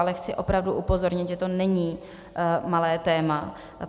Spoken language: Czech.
Ale chci opravdu upozornit, že to není malé téma.